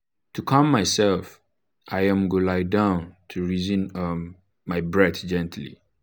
to calm myself i um go lie down dey reason um my breath gently.